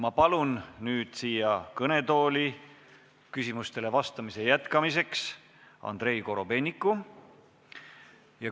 Ma palun nüüd siia kõnetooli küsimustele vastamise jätkamiseks Andrei Korobeiniku.